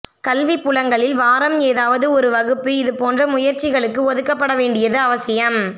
கல்விபுலங்களில் வாரம் ஏதாவது ஒரு வகுப்பு இது போன்ற முயற்சிகளுக்கு ஒதுக்கபட வேண்டியது அவசியம்